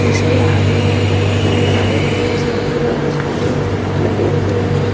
उसके आगे में बहुत सारे मोटरसाइकिल और स्कूटी लगे हुए हैं।